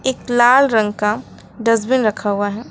एक लाल रंग का डस्टबिन रखा हुआ है।